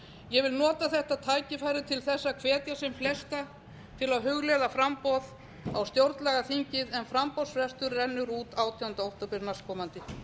ég vil nota þetta tækifæri til að hvetja sem flesta til að hugleiða framboð á stjórnlagaþingið en framboðsfrestur rennur út átjánda október næstkomandi